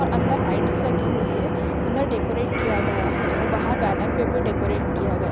अ अंदर लाइट्स लगी हुई है। अंदर डेकोरेट किया गया है और बाहर बॅनर पे भी डेकोरेट किया गया --